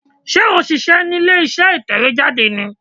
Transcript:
Sé ò n ṣíṣẹ́ ní ilé iṣẹ́ ìtẹ̀wé jáde ni